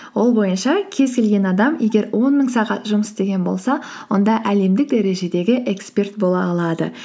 ол бойынша кез келген адам егер он мың сағат жұмыс істеген болса онда әлемдік дәрежедегі эксперт бола алады